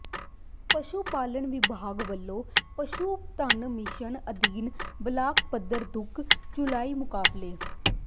ਪਸ਼ੂ ਪਾਲਣ ਵਿਭਾਗ ਵੱਲੋਂ ਪਸ਼ੂ ਧਨ ਮਿਸ਼ਨ ਅਧੀਨ ਬਲਾਕ ਪੱਧਰੀ ਦੁੱਧ ਚੁਆਈ ਮੁਕਾਬਲੇ